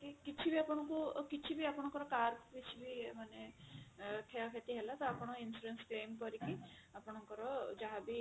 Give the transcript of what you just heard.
କି କିଛି ବି ଆପଣଙ୍କୁ କିଛି ବି ଆପଣଙ୍କର car କିଛି ମାନେ କ୍ଷୟକ୍ଷତି ହେଲା ତ ଆପଣ insurance claim କରିକି ଆପଣଙ୍କର ଯାହାବି